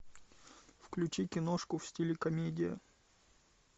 включи киношку в стиле комедия